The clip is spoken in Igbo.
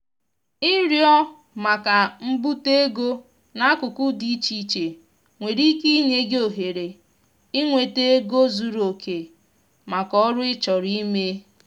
ịrịọ maka mbute ego n'akụkụ dị iche iche nwere ike inye gị ohere inweta ego zuru oke maka oru ị chọrọ ime.